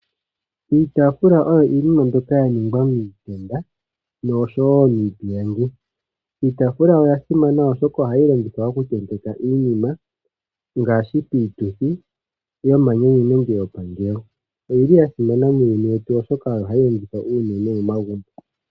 Iitafula oyo iinima mbyoka yaningwa miitenda noshowo miipilangi. Iitafula oyasimana oshoka ohayi longithwa okutentekwa iinima ngashi piituthi yoma nyanyu nenge yo pa geyo oyili yasimana muuyuni wetu oshoka oyo hayi longithwa unene momagumbo.